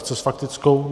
Chce s faktickou?